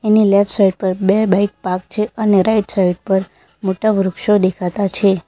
એની left side પર બે bike park છે અને રાઈટ સાઈડ પર મોટા વૃક્ષો દેખાતા છે.